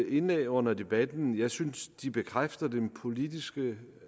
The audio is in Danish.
indlæg under debatten jeg synes de bekræfter den politiske